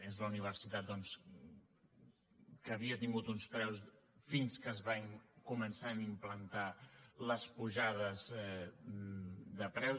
és la universitat doncs que havia tingut uns preus fins que es van començar a implantar les pujades de preus